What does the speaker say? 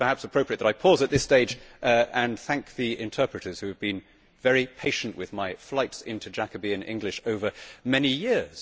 It is perhaps appropriate that I pause at this stage and thank the interpreters who have been very patient with my flights into Jacobean English over many years.